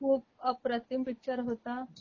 पण खूप अप्रतिम पिक्चर होता